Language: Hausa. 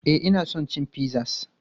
E, ina son cin pizzas.